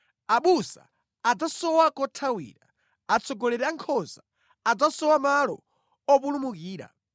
Abusa adzasowa kothawira, atsogoleri a nkhosa adzasowa malo opulumukira.